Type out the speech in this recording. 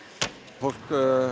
fólk